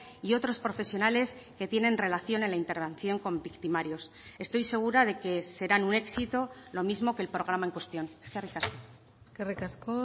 y otros profesionales que tienen relación en la intervención con victimarios estoy segura de que serán un éxito lo mismo que el programa en cuestión eskerrik asko eskerrik asko